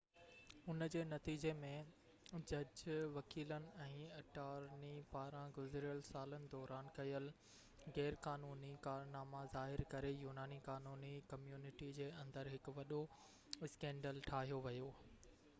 ان جي نتيجي ۾، جج، وڪيلن، ۽ اٽارني پاران گذريل سالن دوران ڪيل غيرقانوني ڪارناما ظاهر ڪري يوناني قانوني ڪميونٽي جي اندر هڪ وڏو اسڪينڊل ٺاهيو ويو